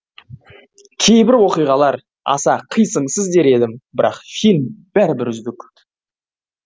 кейбір оқиғалар аса қисыңсыз дер едім бірақ фильм бәрібір үздік